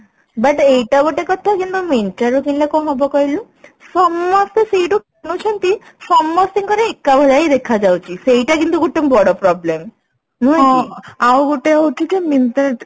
but ଏଇଟା ଗୋଟେ କଥା କିନ୍ତୁ Myntra ରୁ କିଣିଲେ କଣ ହବ କହିଲୁ ସମସ୍ତେ ସେଇଠୁ କିଣୁଛନ୍ତି ସମସ୍ତି ଙ୍କର ଏକା ଭଳିଆ ହିଁ ଦେଖା ଯାଉଛି ସେଇଟା ଗୋଟେ କିନ୍ତୁ ବଡ problem ନୁହେଁ କି